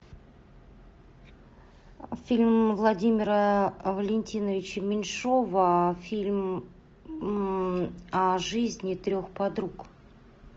фильм владимира валентиновича меньшова фильм о жизни трех подруг